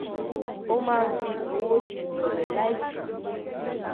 ó máa ń fi owó ṣètọrẹ láìjé kí